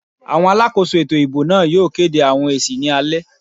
Àwọn alákòóso ètò ìbò náà yóò kéde àwọn èsì ní alẹ́